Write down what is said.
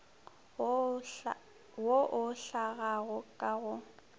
wo o hlagago ka go